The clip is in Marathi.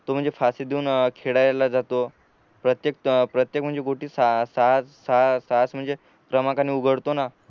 तो म्हणजे खासी देऊन खेळायला जातो प्रत्येक प्रत्येक म्हणजे गोटी सहा सहा क्रमांकाने उघळतो ना